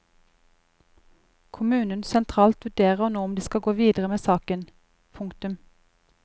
Kommunen sentralt vurderer nå om de skal gå videre med saken. punktum